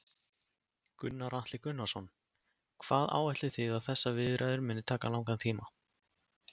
Gunnar Atli Gunnarsson: Hvað áætlið þið að þessar viðræður muni taka langan tíma?